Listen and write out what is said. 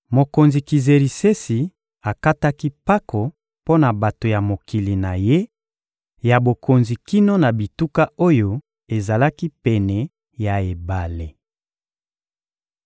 Mokonzi Kizerisesi akataki mpako mpo na bato ya mokili na ye ya bokonzi kino na bituka oyo ezalaki pene ya ebale.